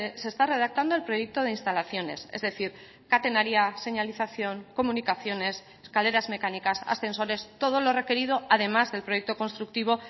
se está redactando el proyecto de instalaciones es decir catenaria señalización comunicaciones escaleras mecánicas ascensores todo lo requerido además del proyecto constructivo